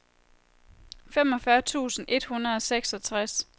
femogfyrre tusind et hundrede og seksogtres